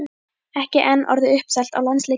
Ekki enn orðið uppselt á landsleikinn í kvöld?